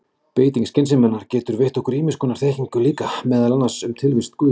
Beiting skynseminnar getur veitt okkur ýmiss konar þekkingu líka, meðal annars um tilvist guðs.